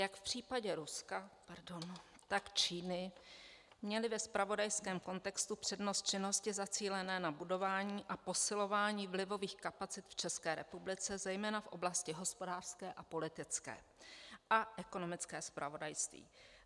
Jak v případě Ruska, tak Číny měly ve zpravodajském kontextu přednost činnosti zacílené na budování a posilování vlivových kapacit v České republice, zejména v oblasti hospodářské a politické a ekonomické zpravodajství.